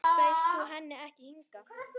Bauðst þú henni ekki hingað?